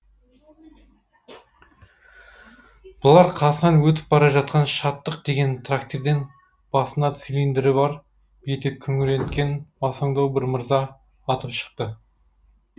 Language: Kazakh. бұлар қасынан өтіп бара жатқан шаттық деген трактирден басында цилиндрі бар беті күңіреткен масаңдау бір мырза атып шықты